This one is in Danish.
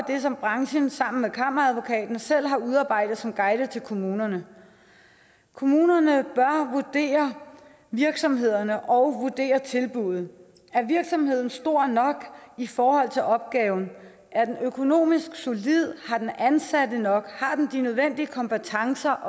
det som branchen sammen med kammeradvokaten selv har udarbejdet som en guide til kommunerne kommunerne bør vurdere virksomhederne og tilbuddene er virksomheden stor nok i forhold til opgaven er den økonomisk solid har den ansatte nok har den de nødvendige kompetencer